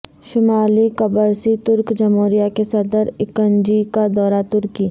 شمالی قبرصی ترک جمہوریہ کےصدر اکن جی کا دورہ ترکی